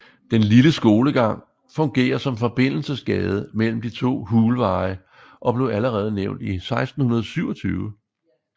Den lille skolegang fungerer som forbindelsesgade mellem de to Hulveje og blev allerede nævnt i 1627